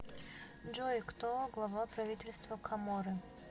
джой кто глава правительства коморы